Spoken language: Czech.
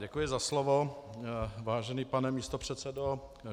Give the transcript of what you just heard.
Děkuji za slovo, vážený pane místopředsedo.